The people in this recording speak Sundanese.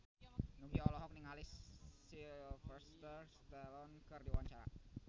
Nugie olohok ningali Sylvester Stallone keur diwawancara